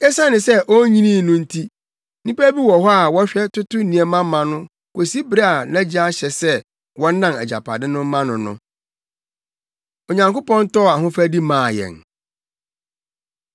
Esiane sɛ onnyinii no nti, nnipa bi wɔ hɔ a wɔhwɛ toto nneɛma ma no kosi bere a nʼagya ahyɛ sɛ wɔnnan agyapade no mma no no. Onyankopɔn Tɔɔ Ahofadi Maa Yɛn